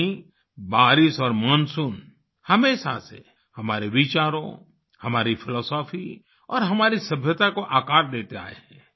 वहीं बारिश और मानसून हमेशा से हमारे विचारों हमारी फिलॉसफी और हमारी सभ्यता को आकार देते आए हैं